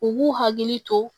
U b'u hakili to